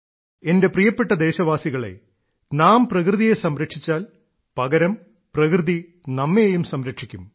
എന്റെ പ്രിയപ്പെട്ട ദേശവാസികളേ നാം പ്രകൃതിയെ സംരക്ഷിച്ചാൽ പകരം പ്രകൃതി നമ്മെയും സംരക്ഷിക്കും